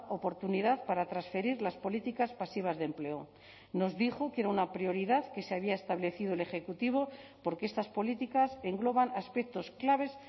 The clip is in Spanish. oportunidad para transferir las políticas pasivas de empleo nos dijo que era una prioridad que se había establecido el ejecutivo porque estas políticas engloban aspectos claves